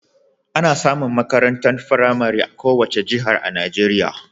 Ana samun makarantar firamare a kowace jiha a Najeriya.